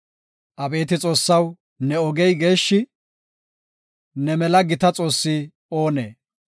Abeeti Xoossaw, ne ogey geeshshi; ne mela gita Xoossi oonee?